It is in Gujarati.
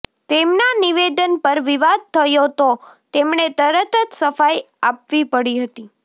તેમના નિવેદન પર વિવાદ થયો તો તેમણે તરત જ સફાઈ આપવી પડી હતી